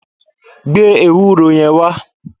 Gbe ewúro yẹn wá!